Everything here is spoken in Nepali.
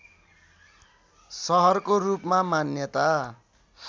सहरको रूपमा मान्यता